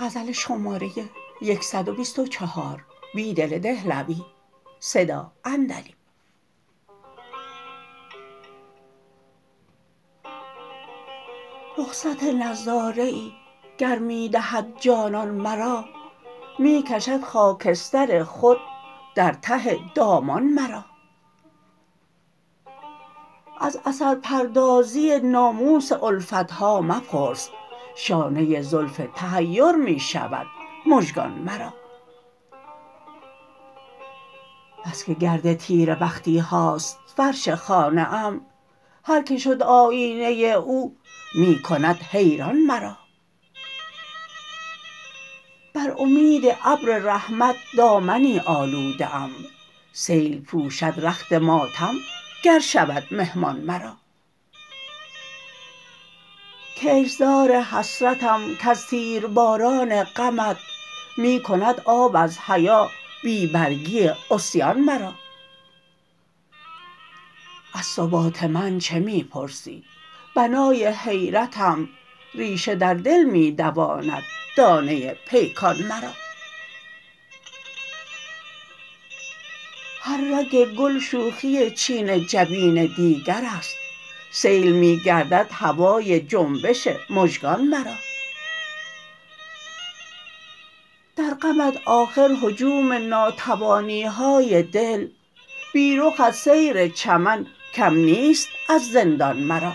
رخصت نظاره ای گر می دهد جانان مرا می کشد خاکستر خود در ته دامان مرا از اثرپردازی ناموس الفتها مپرس شانه زلف تحیر می شود مژگان مرا بسکه گرد تیره بخیهاست فرش خانه ام هرکه شد آیینه او می کند حیران مرا بر امید ابر رحمت دامنی آلوده ام سیل پوشدرخت ماتم گرشود مهمان مرا کشتزار حسرتم کز تیر باران غمت می کند آب از حیا بی برگی عصیان مرا از ثبات من چه می پرسی بنای حیرتم ریشه در دل می دواند دانه پیکان مرا هر رگ گل شوخی چین جبین دیگراست سیل می گردد هوای جنبش مژگان مرا در غمت آخر هجوم ناتوانیهای دل بی رخت سیر چمن کم نیست اززندان مرا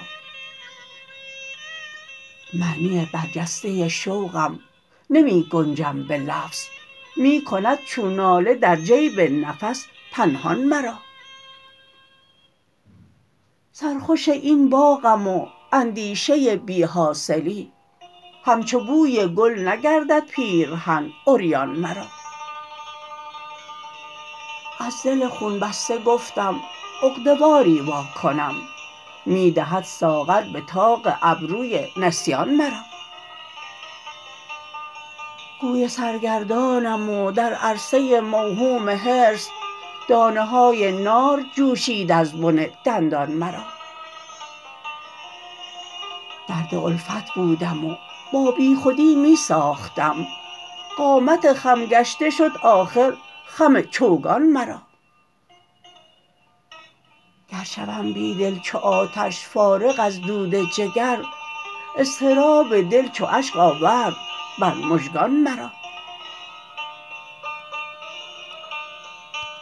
معنی برجسته شوقم نمی گنجم به لفظ می کند چون ناله در جیب نفس پنهان مرا سرخوش این باغم و اندیشه بیحاصلی همچو بوی گل نگردد پیرهن عریان مرا از دل خون بسته گفتم عقده واری واکنم می دهد ساغر به طاق ابروی نسیان مرا گوی سرگردنم و درعرصه موهوم حرص دانه های نار جوشید از بن دندان مرا درد الفت بودم و با بیخودی می ساختم قامت خم گشته شد آخر خم چوگان مرا گرشوم بیدل چوآتش فارغ ازدود جگر اضطراب دل چو اشک آورد بر مژگان مرا